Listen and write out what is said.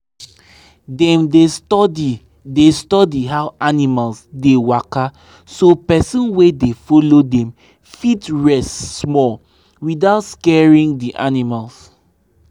dem dey study dey study how animals dey waka so person wey dey follow dem fit rest small without scaring d animals.